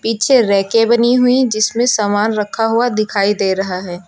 पीछे रैके बनी हुई जिसमें सामान रखा हुआ दिखाई दे रहा है।